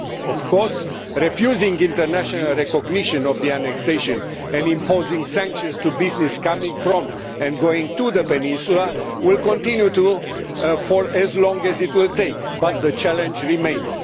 Of course, refusing international recognition of the annexation and imposing sanctions on business coming from and going to the peninsula will continue for long as it will take, but the challenge remains.